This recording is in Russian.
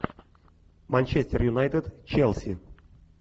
манчестер юнайтед челси